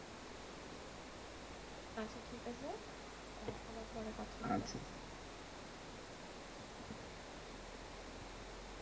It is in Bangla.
আচ্ছা ঠিক আছে, আহ আবার পরে কথা হবে।